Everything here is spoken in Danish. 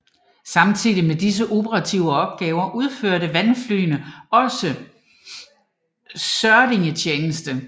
Samtidig med disse operative opgaver udførte vandflyene også søredningstjeneste